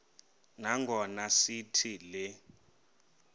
nangona sithi le